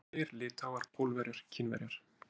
Torkennilegir Litháar, Pólverjar, Kínverjar